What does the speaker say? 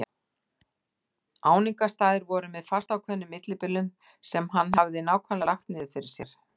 Áningarstaðir voru með fastákveðnum millibilum sem hann hafði nákvæmlega lagt niður fyrir sér.